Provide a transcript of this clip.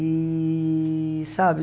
E... Sabe?